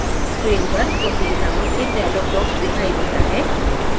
screen पर protein नामक एक dialog box दिखाई देता है